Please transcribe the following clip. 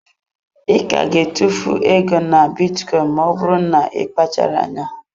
I ka ga-etufu ego na bitcoin, ma ọ bụrụ na ị kpacharaghị anya.